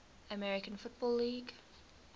american football league